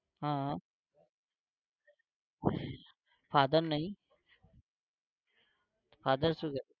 હા father નહિ? father શું કરે?